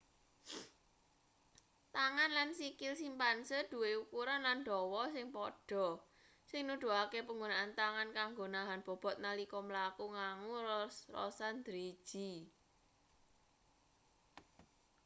tangan lan sikil simpanse duwe ukuran lan dawa sing padha sing nuduhake panggunaan tangan kanggo nahan bobot nalika mlaku nganggo ros-rosan driji